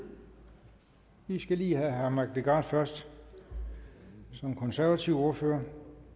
vi skal lige have herre mike legarth først som konservativ ordfører